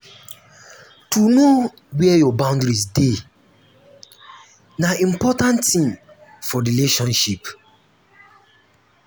to know where your boundary dey um na important tin for um friendship